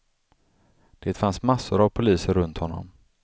Det fanns massor av poliser runt honom.